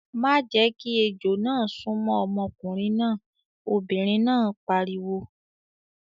"Má jẹ́ kí ejò náà súnmọ́ ọmọkùnrin náà! Obìnrin náà pariwo.